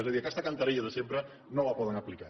és a dir aquesta cantarella de sempre no la poden aplicar